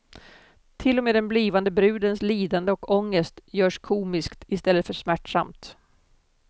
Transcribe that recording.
Till och med den blivande brudens lidande och ångest görs komiskt istället för smärtsamt.